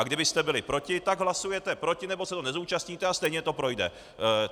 A kdybyste byli proti, tak hlasujete proti nebo se toho nezúčastníte, a stejně to projde.